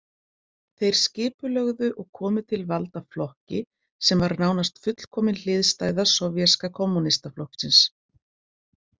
Þeir skipulögðu og komu til valda flokki sem var nánast fullkomin hliðstæða sovéska kommúnistaflokksins.